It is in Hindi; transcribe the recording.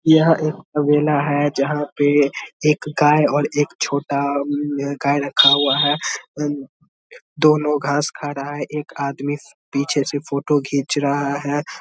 यह एक तबैला हैं जहां पर एक गाय और एक छोटा अ म गाय रखा हुआ हैं दोनो घास खा रहा हैं एक आदमी पीछे से फोटो घीच रहा हैं।